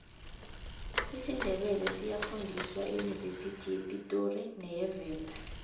isindebele siyafundiswa eyunivesithi yepitori neyevenda